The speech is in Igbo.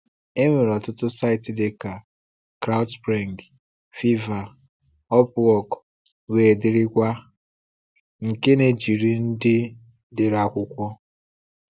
Enwere ọtụtụ saịtị dịka CrowdSpring, Fiverr, Upwork wdg. nke na-ejiri ndị dere akwụkwọ.